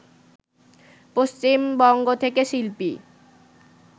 পশ্চিমবঙ্গ থেকে শিল্পী